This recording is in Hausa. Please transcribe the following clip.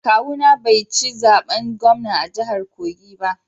Kawuna bai ci zaben gwamna a jahar kogi ba